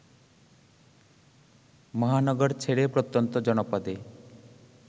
মহানগর ছেড়ে প্রত্যন্ত জনপদে